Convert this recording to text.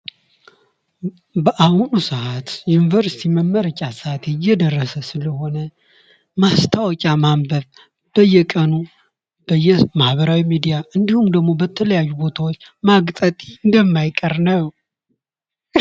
ማስታወቂያ ምርትን፣ አገልግሎትን ወይም ሐሳብን ለተወሰነ ታዳሚ ለማስተዋወቅ የሚደረግ የሚከፈልበት የግንኙነት ዘዴ ነው።